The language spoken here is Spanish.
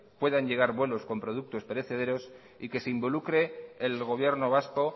puedan llegar vuelos con productos perecederos y que se involucre el gobierno vasco